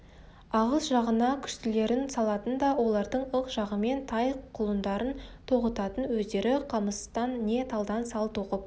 ағыс жағына күштілерін салатын да олардың ық жағымен тай-құлындарын тоғытатын өздері қамыстан не талдан сал тоқып